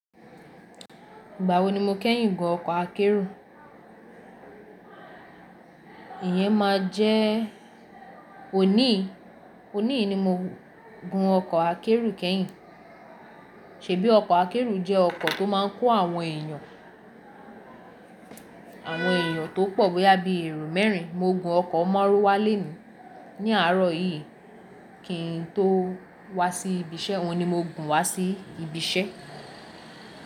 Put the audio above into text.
Ìgbà wo ni mo kẹ́yìn gun ọkọ̀ akẹ́rù? Ìyẹn máa jẹ́ òní, òní ni mo gun ọkọ̀ akẹ́rù kẹ́yìn. Ṣèbí ọkọ̀ akẹ́rù jẹ́ ọkọ̀ tó máa ń kó àwọn èèyàn, àwọn èèyàn tó pọ̀ bóyá bíi èrò mẹ́rin. Mo gun ọkọ̀ Márúwá léni ní àárọ̀ yìí kí n tó wá sí ibi iṣẹ́, wọn ni mo gùn wá sí ibi iṣẹ́.